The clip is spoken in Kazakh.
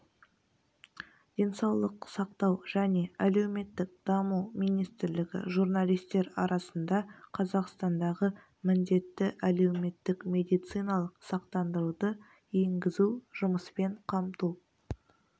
денсаулық сақтау және әлеуметтік даму министрлігі журналистер арасында қазақстандағы міндетті әлеуметтік медициналық сақтандыруды енгізу жұмыспен қамту